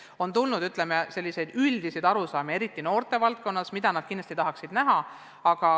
On esitatud, ütleme, selliseid üldiseid arusaamu eriti just noortevaldkonnas, mida nad kindlasti tahaksid teha.